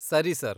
ಸರಿ, ಸರ್.